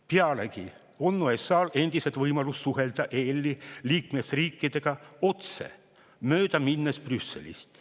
Pealegi on USA-l endiselt võimalus suhelda EL-i liikmesriikidega otse, mööda minnes Brüsselist.